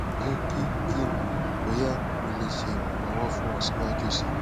jẹ ki ki n mọ boya mo le ṣe iranlọwọ fun ọ siwaju sii